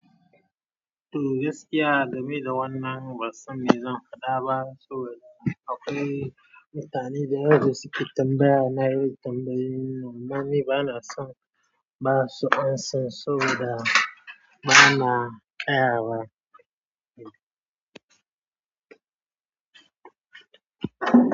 To, gaskiya, game da wannan ba san me zan faɗa ba saboda akwai mutane da yawa da suke tambaya na yi tambayoyin nan. Amma ni ba na son ba su ansan saboda ba na ƙaya wa.